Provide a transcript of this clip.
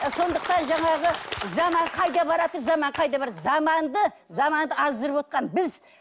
сондықтан жаңағы заман қайда баратыр заман қайда баратыр заманды заманды аздырывотқан біз